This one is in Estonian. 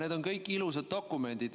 Need on kõik ilusad dokumendid.